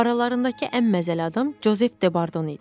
Aralarındakı ən məzəli adam Jozef Debardon idi.